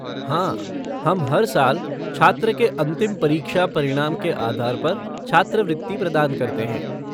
हाँ, हम हर साल छात्र के अंतिम परीक्षा परिणाम के आधार पर छात्रवृत्ति प्रदान करते हैं।